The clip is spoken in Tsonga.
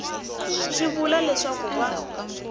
swi vula leswaku va ka